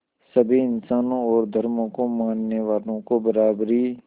सभी इंसानों और धर्मों को मानने वालों को बराबरी